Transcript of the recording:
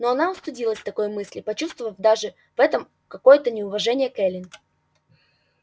но она устыдилась такой мысли почувствовав даже в этом какое-то неуважение к эллин